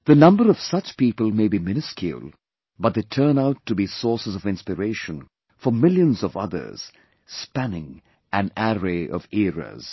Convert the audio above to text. The number of such people may be miniscule, but they turn out to be sources of inspiration for millions of others, spanning an array of eras